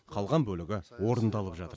қалған бөлігі орындалып жатыр